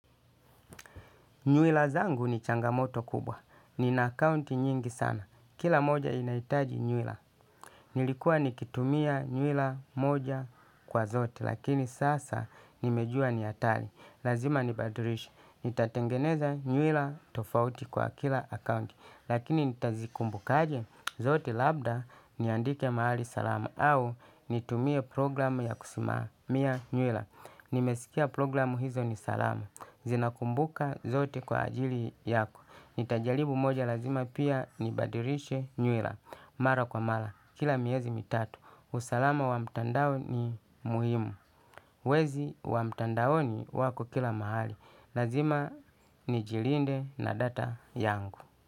Nywila zangu ni changamoto kubwa. Nina akaunti nyingi sana. Kila moja inahitaji nywila. Nilikuwa nikitumia nywila moja kwa zote lakini sasa nimejua ni hatari. Lazima nibadilishe. Nitatengeneza nywila tofauti kwa kila akaunti. Lakini nitazikumbukaje zote labda niandike mahali salama au nitumie programu ya kusimamia nywila. Nimesikia programu hizo ni salama. Zinakumbuka zote kwa ajili yako. Nitajaribu moja lazima pia nibadilishe nywila. Mara kwa mara, kila miezi mitatu. Usalama wa mtandao ni muhimu. Wezi wa mtandaoni wako kila mahali, lazima nijilinde na data yangu.